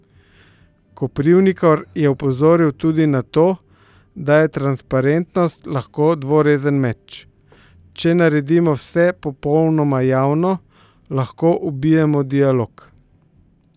Koprivnikar je opozoril tudi na to, da je transparentnost lahko dvorezen meč: "Če naredimo vse popolnoma javno, lahko ubijemo dialog.